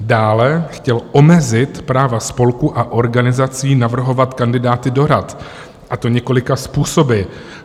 Dále chtěl omezit práva spolků a organizací navrhovat kandidáty do rad, a to několika způsoby.